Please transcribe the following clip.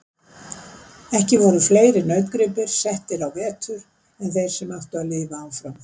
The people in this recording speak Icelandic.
Ekki voru fleiri nautgripir settir á vetur en þeir sem áttu að lifa áfram.